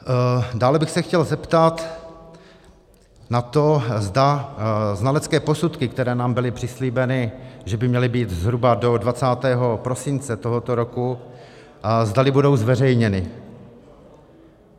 Dále bych se chtěl zeptat na to, zda znalecké posudky, které nám byly přislíbeny, že by měly být zhruba do 20. prosince tohoto roku, zdali budou zveřejněny.